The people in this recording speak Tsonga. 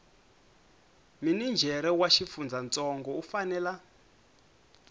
minijere wa xifundzantsongo u fanela